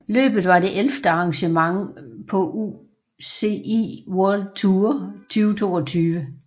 Løbet var det ellevte arrangement på UCI World Tour 2022